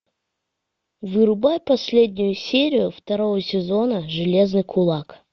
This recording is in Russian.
врубай последнюю серию второго сезона железный кулак